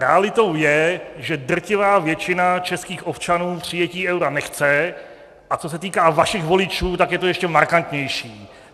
Realitou je, že drtivá většina českých občanů přijetí eura nechce, a co se týká vašich voličů, tak je to ještě markantnější.